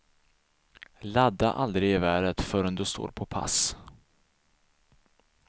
Ladda aldrig geväret förrän du står på pass.